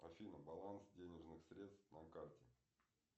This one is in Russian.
афина баланс денежных средств на карте